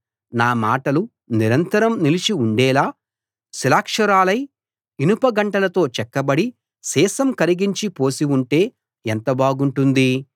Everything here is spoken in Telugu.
నా మాటలు నిరంతరం నిలిచి ఉండేలా శిలాక్షరాలై ఇనుప గంటంతో చెక్కబడి సీసం కరిగించి పోసి ఉంటే ఎంత బాగుంటుంది